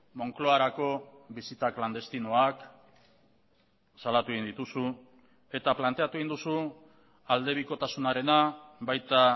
moncloarako bisita klandestinoak salatu egin dituzu eta planteatu egin duzu aldebikotasunarena baita